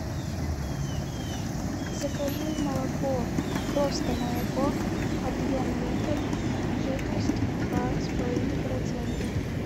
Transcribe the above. закажи молоко просто молоко объем литр жирность два с половиной процента